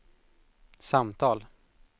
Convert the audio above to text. samtal